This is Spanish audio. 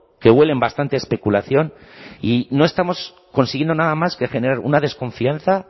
que huelen bastante a especulación y no estamos consiguiendo nada más que generar una desconfianza